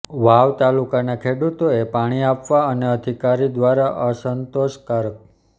વાવ તાલુકાના ખેડૂતો એ પાણી આપવા અને અધિકારી દ્વારા અસંતોષ કારક